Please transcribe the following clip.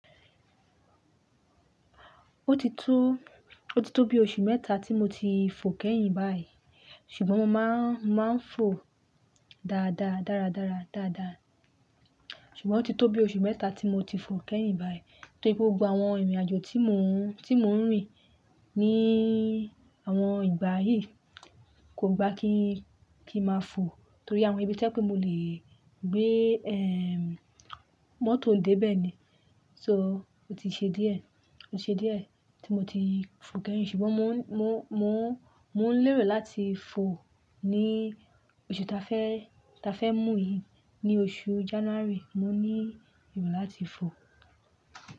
Ó ti tó, ó ti tó bí oṣù mẹ́ta tí mo ti fò kẹ́yìn báyìí, ṣùgbọ́n mo máa ń, máa ń fò dáadáa, dáradára, dáadáa. Ṣùgbọ́n ó ti tó bí oṣù mẹ́ta tí mo ti fò kẹ́yìn báyìí, torí gbogbo àwọn ìrìnàjò tí mò ń, tí mò ń rìn ní àwọn ìgbà yìí kò gba kí, kí máa fò, torí àwọn ibi to je pé mo lè gbé, ehn, mótò dé bẹ́ẹ̀ ni, so ó ti ṣe díẹ̀, ó ṣe díẹ̀ tí mo ti fò kẹ́yìn. Ṣùgbọ́n mò ń, mò ń, mò ń, mò ń lérò láti fò ní oṣù ta fẹ́, ta fẹ́ mú yìí, ní oṣù January, mo ní erò láti fò.